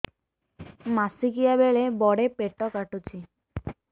ମାସିକିଆ ବେଳେ ବଡେ ପେଟ କାଟୁଚି